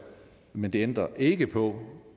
men det ændrer ikke på